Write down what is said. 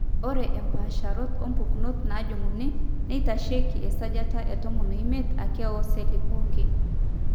ore impaasharot oompukunot naajung'uni neitasheiki esajata etomo omiet ake oocelli pooki.